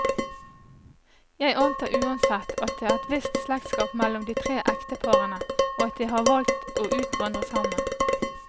Jeg antar uansett, at det er et visst slektskap mellom de tre ekteparene, og at de har valgt å utvandre sammen.